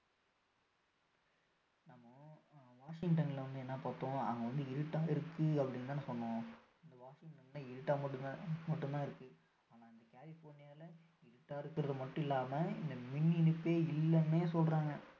நம்ம வாஷிங்டன்ல வந்து என்ன பார்த்தோம் அங்க இருட்டா இருக்கு அப்படின்னு தானே சொன்னோம் வாஷிங்டன்ல இருட்டா மட்டும் தான் இருக்கு ஆனா இந்த கலிபோர்னியால இருட்டா இருக்கிறது மட்டும் இல்லாம மின் இணைப்பே இல்லன்னு சொல்றாங்க